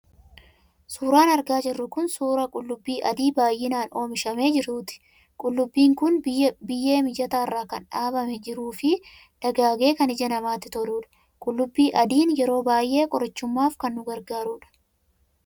Suuraan argaa jirru kun suuraa qullubbii adii baay'inaan oomishamee jiruuti. Qullubbiin kun biyyee mijataa irra kan dhaabamee jiruu fi dagaagee kan ija namaatti toludha. Qullubbii adiin yeroo baay'ee qorichummaaf kan nu gargaarudha.